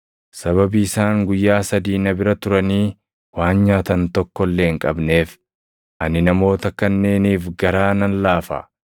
“Sababii isaan guyyaa sadii na bira turanii waan nyaatan tokko illee hin qabneef, ani namoota kanneeniif garaa nan laafa.